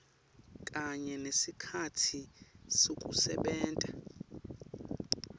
kanye nesikhatsi sekusebenta